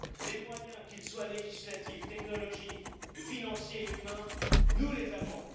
Les moyens, qu'ils soient législatifs, technologiques, financiers ou humains, nous les avons!